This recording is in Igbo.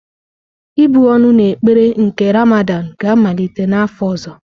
Ịbụ́ ọnụ na ekpere nke Ramadan ga-amalite n'afọ ọzọ.